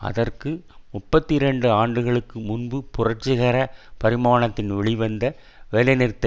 அதற்கு முப்பத்தி இரண்டு ஆண்டுகளுக்கு முன்பு புரட்சிகர பரிமாணத்தில் வெளிவந்த வேலைநிறுத்த